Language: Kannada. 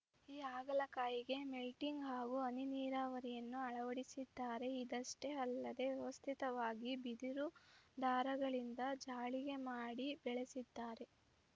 ಈ ಹಾಗಲಕಾಯಿಗೆ ಮಲ್ಚಿಂಗ್‌ ಹಾಗೂ ಹನಿ ನೀರಾವರಿಯನ್ನು ಅಳವಡಿಸಿದ್ದಾರೆ ಇದಷ್ಟೇ ಅಲ್ಲದೇ ವ್ಯವಸ್ಥಿತವಾಗಿ ಬಿದಿರು ದಾರಗಳಿಂದ ಜಾಳಿಗೆ ಮಾಡಿ ಬೆಳೆಸಿದ್ದಾರೆ